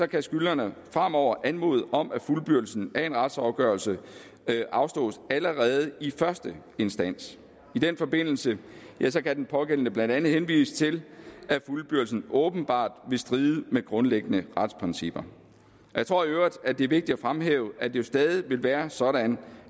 kan skyldnerne fremover anmode om at fuldbyrdelsen af en retsafgørelse afslås allerede i første instans i den forbindelse kan den pågældende blandt andet henvise til at fuldbyrdelsen åbenbart vil stride med grundlæggende retsprincipper jeg tror i øvrigt det er vigtigt at fremhæve at det jo stadig vil være sådan